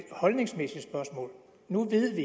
holdningsmæssigt spørgsmål nu ved